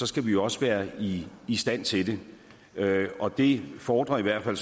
skal vi også være i i stand til det og det fordrer i hvert fald